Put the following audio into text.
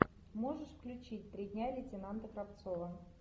можешь включить три дня лейтенанта кравцова